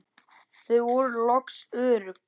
Þau voru loks örugg.